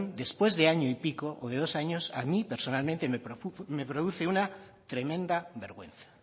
después de año y pico o de dos años a mí personalmente me produce una tremenda vergüenza